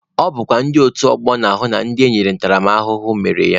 Ọ bụkwa ndị otu ọgbọ na-ahụ na onye enyere ntaramahụhụ mere ya.